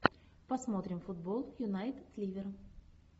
посмотрим футбол юнайтед ливер